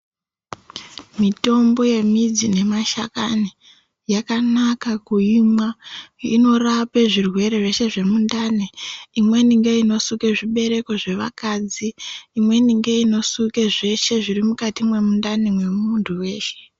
Mitombo yemidzi nemashakani yakanaka kuimwa inorapa zvirwere zveshe zvemundani imweni ngeinosuke zvibereko zvevakadzi imweni ngeinosuke zveshe zviri mukati mwemundani mwemuntu weshe.